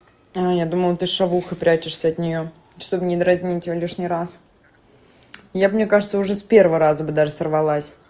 я думала ты с шавухой прячешься от неё чтобы не дразнить её лишний раз я бы мне кажется уже с первого раза бы даже сорвалась